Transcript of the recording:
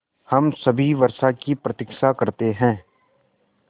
हम सभी वर्षा की प्रतीक्षा करते हैं